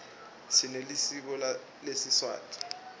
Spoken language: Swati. sinelisiko lesiswati